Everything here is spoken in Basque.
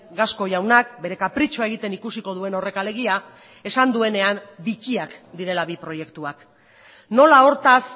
gasco jaunak bere kapritxoa egiten ikusiko duen horrek alegia esan duenean bikiak direla bi proiektuak nola hortaz